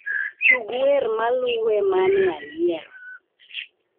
Tug wer maluwe mane ayiero